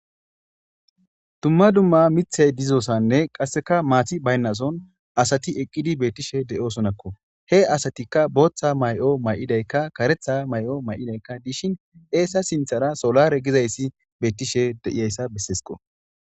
dumma dumma mithey dizosanne qasseka maati baynnason asati eqqidi beettishe de7osonakko he asatikka booththa may7o may7idaykka karetha may7o may7idaykka dishin eessa sinthara solare gizayssi beettishe de7iyayssa besseesqo